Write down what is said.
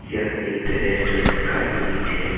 यह एक रेस्टोरेंट का इमेज है।